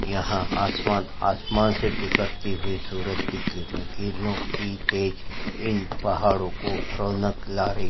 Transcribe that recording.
यहाँ आसमान आसमान से बिखरती हुई सूरज की किरणें किरणों की तेज इन पहाड़ो को रौनक ला रही --